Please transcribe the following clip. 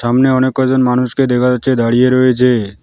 সামনে অনেক কয়জন মানুষকে দেখা যাচ্ছে দাঁড়িয়ে রয়েছে।